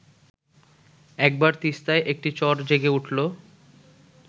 একবার তিস্তায় একটি চর জেগে উঠল